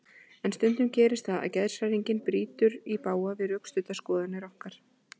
En stundum gerist það að geðshræring brýtur í bága við rökstuddar skoðanir okkar.